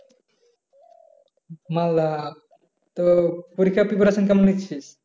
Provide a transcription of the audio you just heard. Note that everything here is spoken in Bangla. মালদা তো পরিক্ষার preparation কেমন নিচ্ছিস?